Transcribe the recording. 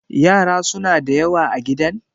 yara suna da yawa a gidan?